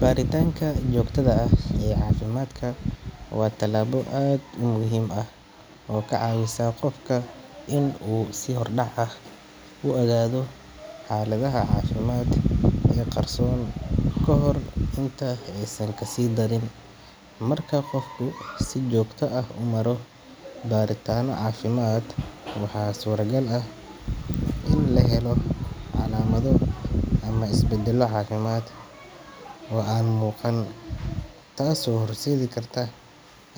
Baaritanka joogtadha ah ee cafimaadhka wa talaabo aad umuhim ah oo kacawisa qofka in u si hordhac ah u ogaadho xaaladhaha cafimaadh ee qarsoon kahor inta eysan kasidharin marka qofku si joogta ah umaro baaritaano cafimadh waxa suura gall ah in lahelo calaamadho ama isbadhallo caafimadh o aan muuqan Taas oo hor seedhi karta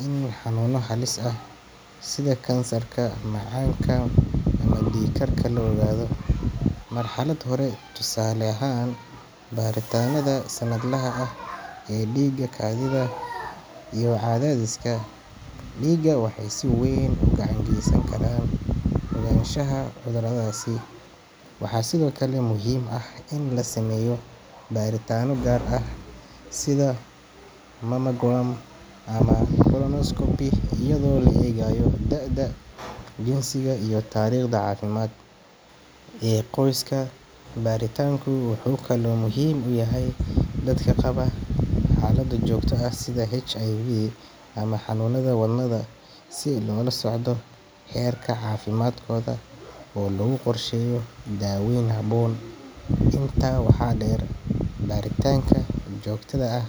in xanuuna halis ah sidha cancer macaanka ama dhiig karka la ogaadho marxaladh hore tusaale ahan baaritaanadha sanadh laha ah ee dhiiga kadhidha iyo cadhadhiska dhiiga waxa si weeyn uga gacan geysan kara ogaanshaha cudhuradhasi waxa sidho kale muhiim ah in lasameyo baaritaano gaar ah sitha colonoscopy iyadho la egaayo da'ada jinsiga iyo taariiqda caafimadh iyo qooysks baaritanka waxa kale oo muhiim uyahay dhadhka qabo xaladha joogtadha ah ee Hiv ama canuunadha wadhnaha sii loolasocdho heerka caafimadhkoodha oo lagu qorsheeyo dhaawoyin haboon inta waxa dheer baaritaanka joogtadha ah